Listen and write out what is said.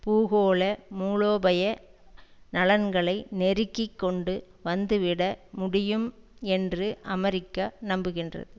பூகோள மூலோபய நலன்களை நெருக்கிக்கொண்டு வந்துவிட முடியும் என்று அமெரிக்கா நம்புகின்றது